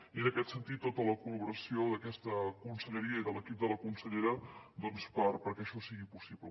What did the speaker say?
i en aquest sentit tota la col·laboració d’aquesta conselleria i de l’equip de la consellera perquè això sigui possible